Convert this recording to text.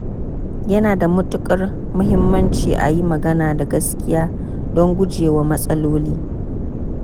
Yana da matukar muhimmanci a yi magana da gaskiya don gujewa matsaloli.